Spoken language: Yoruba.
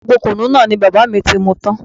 Gbogbo kùnú náà ni bàbá mi ti mú tan